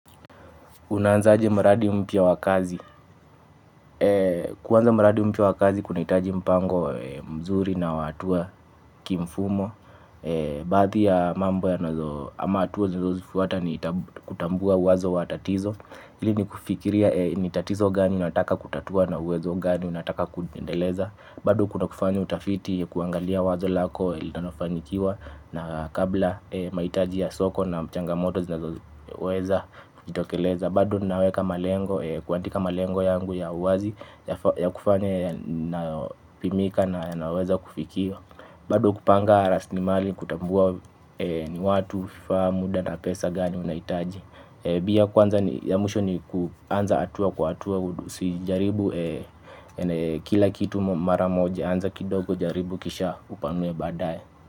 Unaanzaje mradi mpya wa kazi? Kuanza mradi mpya wa kazi kunahitaji mpango mzuri na wa hatua kimfumo baadhi ya mambo ama hatua tunazozifuata ni kutambua uanzo wa tatizo. Ili ni kufikiria ni tatizo gani unataka kutatua na uwezo gani unataka kuendeleza. Bado kuna kufanya utafiti, kuangalia wazo lako, linalofanikiwa na kabla mahitaji ya soko na changamoto zinazoweza jitokeleza. Bado naweka malengo, kuandika malengo yangu ya uwazi ya kufanya napimika na yanayoweza kufikiwa. Bado kupanga rasilimali, kutambua ni watu, vifaa, muda na pesa gani unahitaji. Pia kwanza ni ya mwisho ni kuanza hatua kwa hatua, usijaribu kila kitu mara moja, anza kidogo jaribu kisha upanue baadae.